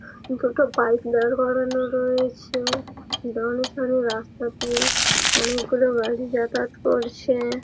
ওখানটো bike দাঁড় করানো রয়েছে-এ বড় সড় রাস্তা দিয়ে অনেকগুলো গাড়ি যাতায়াত করছে-এ --